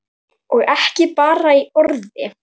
Og ekki bara í orði.